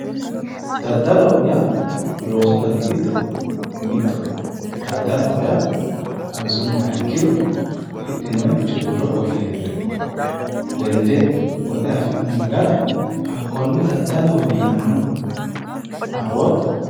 Daddaloho yaa loosu dani giddo mittoho. Daddaloho yaa xawisummohero hidhinoyiricho wirro qolle hirre lende woxe afi'nanni gara hakkonne daddalohowe yinanni. Afootto?